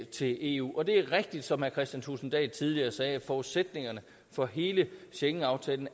til eu og det er rigtigt som herre kristian thulesen dahl tidligere sagde at forudsætningerne for hele schengenaftalen